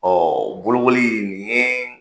Ɔ bolokoli in ye